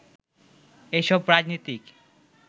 এসব রাজনীতিক